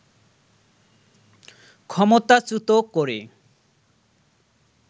ক্ষমতাচ্যুত করে